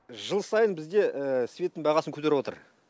жыл сайын бізде светтің бағасын көтеріп отыр